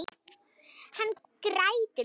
Hann grætur líka.